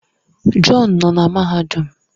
John nọ na mahadum